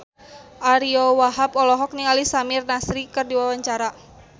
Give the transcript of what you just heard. Ariyo Wahab olohok ningali Samir Nasri keur diwawancara